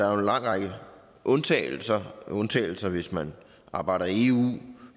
er en lang række undtagelser undtagelser hvis man arbejder i eu